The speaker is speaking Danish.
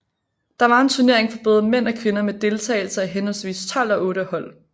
Der var en turnering for både mænd og kvinder med deltagelse af henholdsvis tolv og otte hold